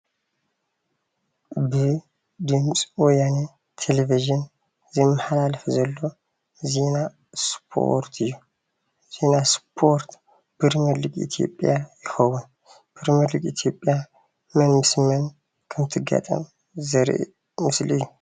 ብድምፂ ወያነ ቴሌቭዥ ዝመሓላለፍ ዘሎ ዜና እስፖርት እዩ፡፡ ዜና እስፖርት ፕሪሚየር ሊግ ኢትዮጵያ ይከውን፡፡ ፕሪሚየር ሊግ ኢትዮጵያ መን ምስ መን ከም እትጋጠም ዘርኢ ምስሊ እዩ፡፡